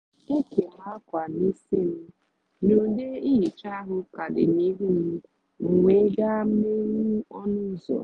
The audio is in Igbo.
e kèm akwa n’isi m na ude ihicha ahụ ka dị n’ihu m m wee gaa meghee ọnụ ụzọ